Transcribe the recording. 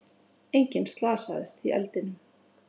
Enginn slasaðist í eldinum